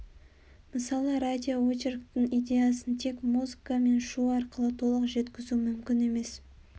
мысалы радиоочерктің идеясын тек музыка мен шу арқылы толық жеткізу мүмкін емес